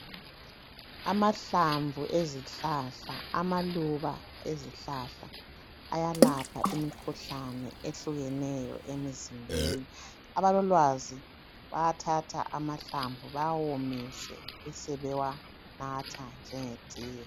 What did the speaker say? Amahlamvu ezihlahla, amaluba ezihlahla ayalapha imikhuhlane ehlukeneyo emizimbeni. Abalolwazi bayathatha amahlamvu bewawomise besebewanatha njenge tiye.